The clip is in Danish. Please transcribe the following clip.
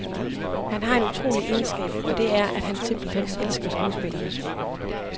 Han har en utrolig egenskab, og det er, at han simpelt hen elsker skuespillerne.